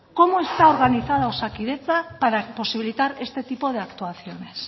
cómo está organizado osakidetza para imposibilitar este tipo de actuaciones